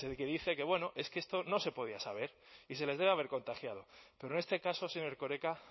que dice que bueno es que esto no se podía saber y se les debe haber contagiado pero en este caso señor erkoreka